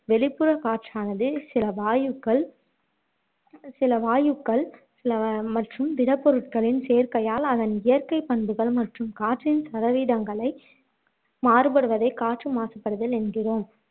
வெளிப்புறக் காற்றானது சில வாயுக்கள் சில வாயுக்கள் சில மற்றும் திடப் பொருட்களின் சேர்க்கையால் அதன் இயற்கை பண்புகள் மற்றும் காற்றின் சதவீதங்களை மாறுபடுவதை காற்று மாசுபடுதல் என்கிறோம்